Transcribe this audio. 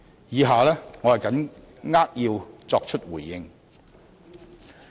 以下我扼要作出回應。